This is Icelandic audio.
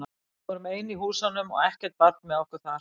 Við vorum ein í húsunum og ekkert barn með okkur þar.